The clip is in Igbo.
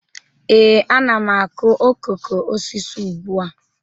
Ee, a na m akụ okoko osisi ugbu a